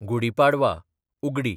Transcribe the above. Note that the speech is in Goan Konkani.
गुडी पाडवा / उगडी